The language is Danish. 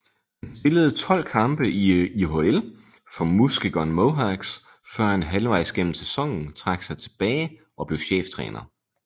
Han spillede 12 kampe i IHL for Muskegon Mohawks før han halvvejs gennem sæsonen trak sig tilbage og blev cheftræner